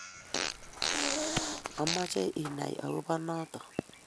amoche inai akobo noto.